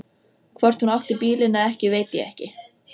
Hann tók stefnuna heim með vaxbornu úlpuna undir handleggnum.